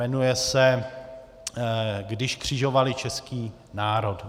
Jmenuje se Když křižovali český národ.